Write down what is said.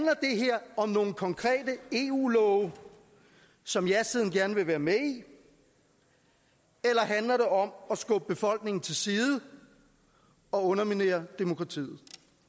om nogle konkrete eu love som jasiden gerne vil være med i eller handler det om at skubbe befolkningen til side og underminere demokratiet